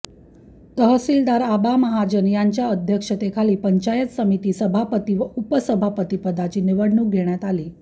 तहसीलदार आबा महाजन यांच्या अध्यक्षतेखाली पंचायत समिती सभापती व उपसभापती पदाची निवडणूक घेण्यात आली